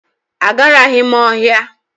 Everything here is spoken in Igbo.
Agaraghị m ọhịa.